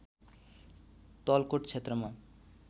तलकोट क्षेत्रमा